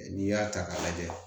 N'i y'a ta k'a lajɛ